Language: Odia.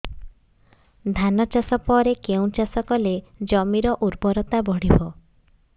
ଧାନ ଚାଷ ପରେ କେଉଁ ଚାଷ କଲେ ଜମିର ଉର୍ବରତା ବଢିବ